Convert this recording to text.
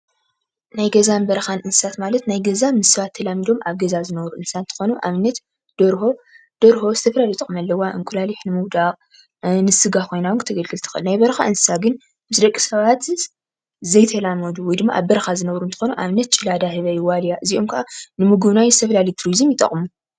ናይ ገዛን በረኻን እንስሳት ማለት ናይ ገዛ ምስ ሰባት ተላሚዶም ኣብ ገዛ ዝነብሩ እንስሳት እንትኾኑ ኣብነት ደርሆ ደርሆ ዝተፈላለዩ ጥቅሚ ኣለዋ። ኣብነት እንቋቁሖ ንምዉዳቅ ንስጋ ኾይና እውን ክተገልግል ትክእል። ናይ በረኻ እንስሳት ግን ምስ ደቂ ሰባት ዘይተላመዱ ወይ ድማ ኣብ በረኻ ዝነብሩ እንትኾኑ ኣብነት ጭላዳህበይ ዋልያ እዚኦም ከኣ ንምጉብናይ ዝተፈላለዩ ቱሪዝም ይጠቅሙ።